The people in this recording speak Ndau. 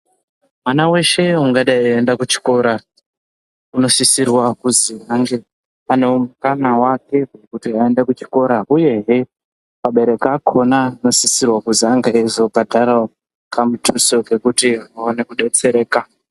Mwana veshe ungadai veienda kuchikora unosisirwa kuzi ange aine mukana vake vekuenda kuchikora uyezve abereki akona anosisirwa kuzi ange eizo bhadharavo kamutuso kekuti vaone kudetsereka.